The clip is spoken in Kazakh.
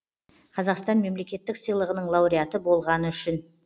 қазақстан мемлекеттік сыйлығының лауреаты болғаны үшін